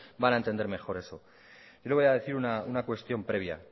van a entender mejor eso yo le voy a decir una cuestión previa